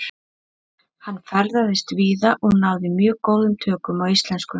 Hann ferðaðist víða og náði mjög góðum tökum á íslensku.